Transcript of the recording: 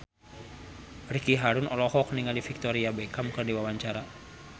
Ricky Harun olohok ningali Victoria Beckham keur diwawancara